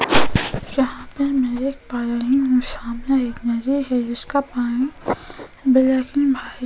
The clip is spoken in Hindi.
यहां पर मैं देख पा रही हूं सामने एक नदी है जिसका पानी ब्लैक एंड व्हाइट --